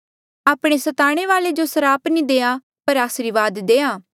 आपणे सताणे वाले जो स्राप नी देआ पर आसरीवाद देआ